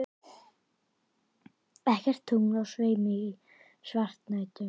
Ekkert tungl á sveimi í svartnættinu.